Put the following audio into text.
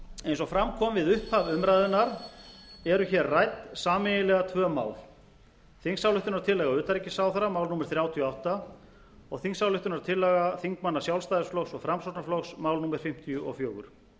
eins og fram kom við upphaf umræðunnar eru hér rædd sameiginlega tvö mál þingsályktunartillaga utanríkisráðherra mál númer þrjátíu og átta og þingsályktunartillaga þingmanna sjálfstæðisflokks og framsóknarflokks mál númer fimmtíu og fjögur